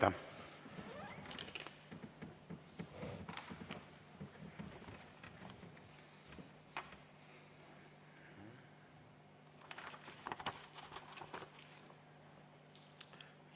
Aitäh!